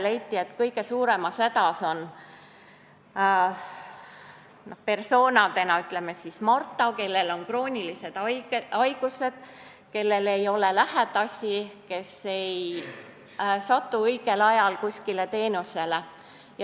Leiti, et kõige suuremas hädas persona on, ütleme, Marta, kellel on kroonilised haigused, kellel ei ole lähedasi ja kes ei satu õigel ajal kuskile teenusele.